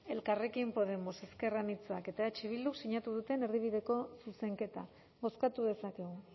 elkarrekin podemos ezker anitzak eta eh bilduk sinatu duten erdibideko zuzenketa bozkatu dezakegu